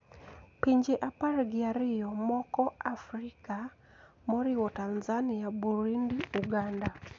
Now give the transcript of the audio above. Pinje apar gi ariyo moko Afrika, moriwo Tanzania, Burundi, Uganda,